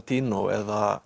eða